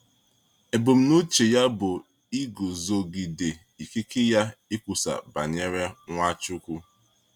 Ebumnuche ya bụ iguzogide ikike ya ikwusa banyere Nwachukwu.